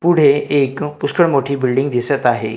पुढे एक पुष्कळ मोठी बिल्डिंग दिसतं आहे.